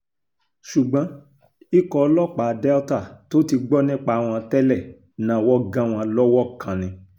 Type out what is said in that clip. ṣùgbọ́n ikọ̀ ọlọ́pàá delta tó ti gbọ́ nípa wọn tẹ́lẹ̀ náwó gan wọn lọ́wọ́ kan ni